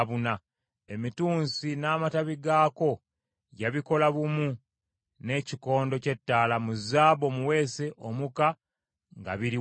Emitunsi n’amatabi gaako yabikola bumu n’ekikondo ky’ettaala mu zaabu omuweese omuka nga biri wamu.